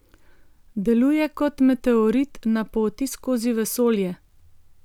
Deluje kot meteorit na poti skozi vesolje.